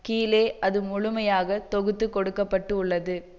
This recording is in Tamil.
கீழே அது முழுமையாக தொகுத்து கொடுக்க பட்டுள்ளது